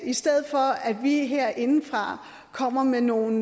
i stedet for at vi herindefra kommer med nogle